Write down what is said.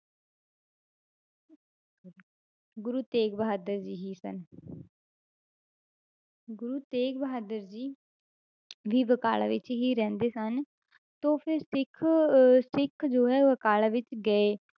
ਗੁਰੂ ਤੇਗ ਬਹਾਦਰ ਜੀ ਹੀ ਸਨ ਗੁਰੂ ਤੇਗ ਬਹਾਦਰ ਜੀ ਵੀ ਬਕਾਲਾ ਵਿੱਚ ਹੀ ਰਹਿੰਦੇ ਸਨ ਤਾਂ ਫਿਰ ਸਿੱਖ ਅਹ ਸਿੱਖ ਜੋ ਹੈ ਬਕਾਲਾ ਵਿੱਚ ਗਏ,